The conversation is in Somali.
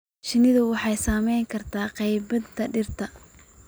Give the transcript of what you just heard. Shinnidu waxay saameyn kartaa qaybinta dhirta.